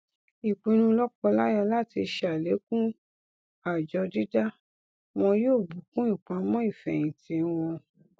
ìpinnu lọkọláya láti ṣàlékún àjọ dídá wọn yóò bùkún ìpamọ ìfẹhìntì wọn